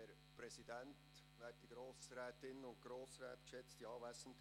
Ich gebe dem Regierungsrat das Wort.